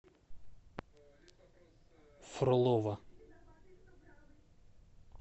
фролово